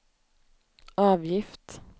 avgift